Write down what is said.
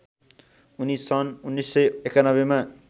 उनी सन् १९९१ मा